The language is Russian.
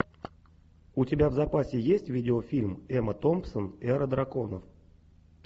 у тебя в запасе есть видео фильм эмма томпсон эра драконов